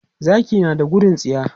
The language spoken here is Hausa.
Zaki na da gudun tsiya.